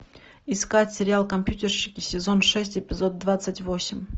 искать сериал компьютерщики сезон шесть эпизод двадцать восемь